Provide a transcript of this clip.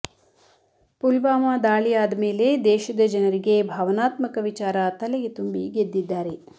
ಪುಲ್ವಾಮ ದಾಳಿ ಆದ ಮೇಲೆ ದೇಶದ ಜನರಿಗೆ ಭಾವನಾತ್ಮಕ ವಿಚಾರ ತಲೆಗೆ ತುಂಬಿ ಗೆದ್ದಿದ್ದಾರೆ